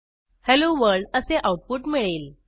hello world असे output मिळेल